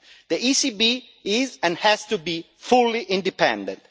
The ECB is, and has to be, fully independent.